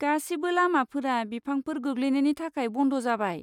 गासिबो लामाफोरा बिफांफोर गोग्लैनायनि थाखाय बन्द जाबाय।